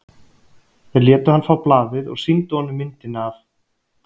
Þeir létu hann fá blaðið og sýndu honum myndina af